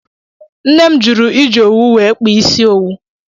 Ńne m jụrụ iji owu wee kpaa isi owu.